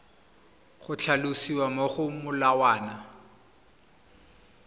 go tlhalosiwa mo go molawana